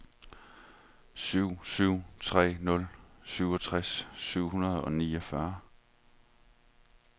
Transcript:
syv syv tre nul syvogtres syv hundrede og niogfyrre